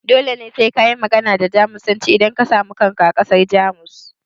Dole ne kayi magana da Jamusanci idan ka samu kanka a ƙasar Jamus?